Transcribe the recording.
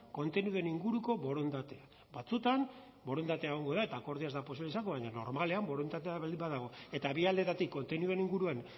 kontenidoen inguruko borondatea batzuetan borondatea egongo da eta akordioa ez da posible izango baina normalean borondatea baldin badago eta bi aldetatik kontenidoen inguruan